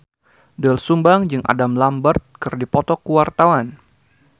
Doel Sumbang jeung Adam Lambert keur dipoto ku wartawan